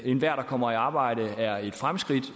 enhver der kommer i arbejde er et fremskridt